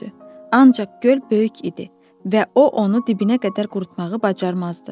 Ancaq göl böyük idi və o onu dibinə qədər qurutmağı bacarmazdı.